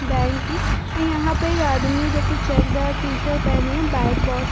Bank की अ यहाँ पे एक आदमी जोकि चेकदार टी-शर्ट पहने है। Bike boss --